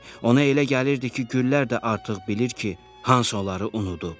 Ona elə gəlirdi ki, güllər də artıq bilir ki, Hans onları unudub.